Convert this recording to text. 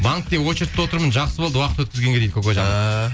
банкте очередте отырмын жақсы болды уақыт өткізгенге дейді